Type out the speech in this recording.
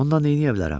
Ondan neyləyə bilərəm?